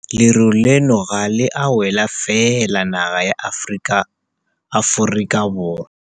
Leru leno ga le a wela fela naga ya Aforika Borwa.